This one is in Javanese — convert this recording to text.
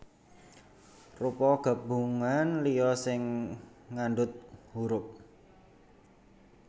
Rupa gabungan liya sing ngandhut hurup